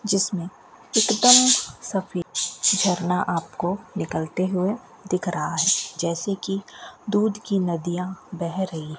जिसमें एक दम सफेद झरना आपको निकलते हुए दिख रहा है जैसे की दूध की नदियां बह रही --